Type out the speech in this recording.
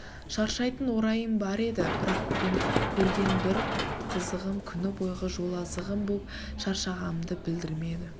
шаршайтын орайым бар еді бірақ бүгін көрген бір қызығым күні бойғы жол азығым боп шаршағанымды білдірмеді